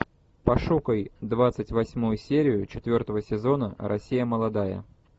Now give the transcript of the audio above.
пошукай двадцать восьмую серию четвертого сезона россия молодая